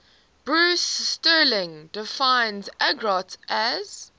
bruce sterling defines argot as